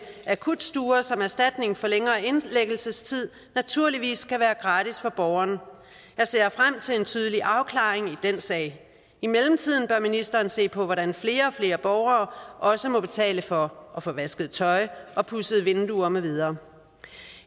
akutstuer som erstatning for længere indlæggelsestid naturligvis skal være gratis for borgeren jeg ser frem til en tydelig afklaring i den sag i mellemtiden bør ministeren se på hvordan flere og flere borgere også må betale for at få vasket tøj få pudset vinduet med videre